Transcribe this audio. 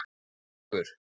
Og með ykkur!